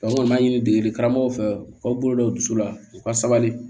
an b'a ɲini degeli karamɔgɔw fɛ u k'aw bolo da u dusu la u ka sabali